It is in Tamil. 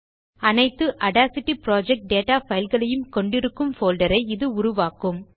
அனைத்து ஆடாசிட்டி புரொஜெக்ட் டேட்டா fileகளையும் கொண்டிருக்கும் போல்டர் ஐ இது உருவாக்கும்